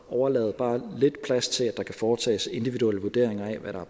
at overlade bare lidt plads til at der kan foretages individuelle vurderinger af